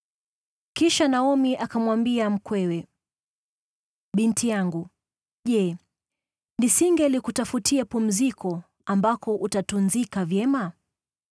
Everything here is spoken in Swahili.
Kisha Naomi akamwambia mkwewe, “Binti yangu, je, nisingelikutafutia pumziko ambako utatunzika vyema?